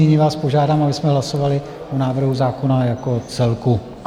Nyní vás požádám, abychom hlasovali o návrhu zákona jako celku.